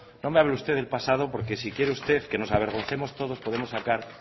no me hable usted del pasado porque si quiere usted que nos avergoncemos todos podemos sacar